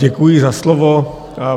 Děkuji za slovo.